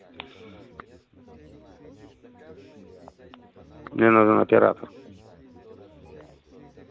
мне нужен оператор